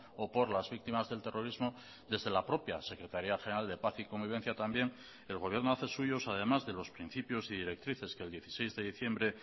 o por las víctimas del terrorismo desde la propia secretaría general de paz y convivencia también el gobierno hace suyos además de los principios y directrices que el dieciséis de diciembre